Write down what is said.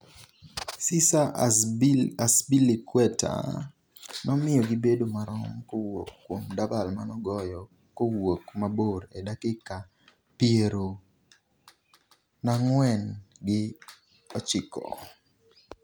Cesar Azpilicueta nomiyo gibedo marom kowuok kuom dabal manogoyo kowuok mabor e dakika piero nag'wen gi ochiko